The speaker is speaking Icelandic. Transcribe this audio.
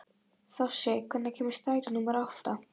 Þossi, hvenær kemur strætó númer átta?